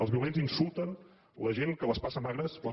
els violents insulten la gent que les passa magres quan